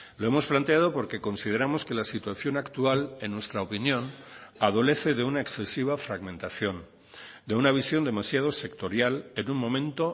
lo hemos planteado porque consideramos que la situación actual en nuestra opinión adolece de una excesiva fragmentación de una visión demasiado sectorial en un momento